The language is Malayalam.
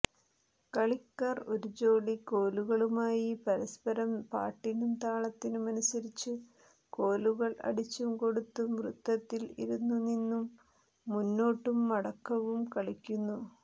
കളിക്കാർ ഒരു ജോടി കോലുകളുമായി പരസ്പരം പാട്ടിനും താളത്തിനുമനുസരിച്ച് കോലുകൾ അടിച്ചും കൊടുത്തും വൃത്തത്തിൽ ഇരുന്നും നിന്നും മുന്നോട്ടുംമടക്കവും കളിക്കുന്നു